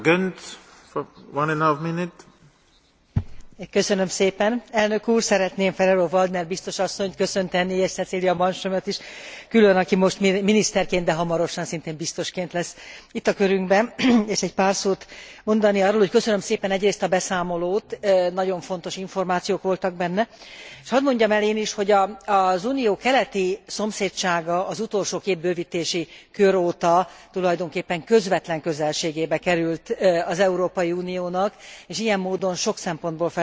Szeretném Ferrero Waldner biztos asszonyt köszönteni és Cecilia Malmströmöt is külön, aki most miniszterként, de hamarosan szintén biztosként lesz itt a körünkben, és egy pár szót mondani arról, hogy köszönöm szépen egyrészt a beszámolót nagyon fontos információk voltak benne s hadd mondjam el én is, hogy az Unió keleti szomszédsága az utolsó két bővítési kör óta tulajdonképpen közvetlen közelségébe került az Európai Uniónak, és ilyen módon sok szempontból felértékelődött. Nem csak a geográfiai közelség miatt, hanem részben az orosz